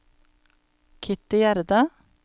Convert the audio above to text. Kitty Gjerde